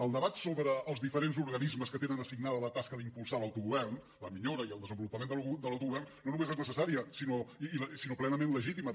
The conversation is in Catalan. el debat sobre els diferents organismes que tenen assignada la tasca d’impulsar l’autogovern la millora i el desenvolupament de l’autogovern no només és necessària sinó plenament legítima